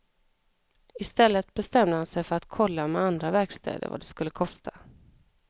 Istället bestämde han sig för att kolla med andra verkstäder vad det skulle kosta.